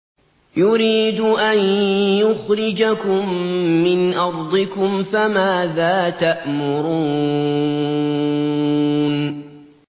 يُرِيدُ أَن يُخْرِجَكُم مِّنْ أَرْضِكُمْ ۖ فَمَاذَا تَأْمُرُونَ